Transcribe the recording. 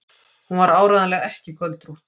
Hún var áreiðanlega ekki göldrótt.